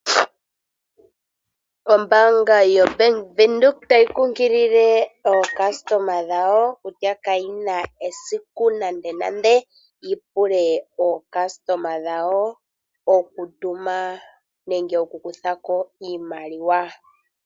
Ombaanga yoBank Windhoek otayi kunkilile aalongithi yawo, kutya kayi na esiku nandenande yi pule aalongithi dhayo oku tuma nenge oku kutha ko iimaliwa.